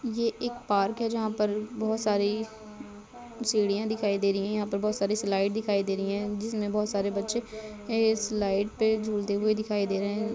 ये एक पार्क है जहाँ पर बहुत सारी सीढ़ियां दिखाई दे रही हैं|यहाँ पर बहुत सारे स्लाइड दिखाई दे रही हैं जिसमे बहुत सारे बच्चे इस स्लाइड पे झुलते हुए दिखाई दे रहे हैं।